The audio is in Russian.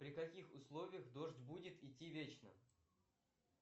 при каких условиях дождь будет идти вечно